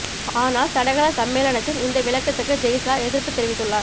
ஆனால் தடகள சம்மே ளனத்தின் இந்த விளக்கத்துக்கு ஜெய்ஷா எதிர்ப்பு தெரிவித் துள்ளார்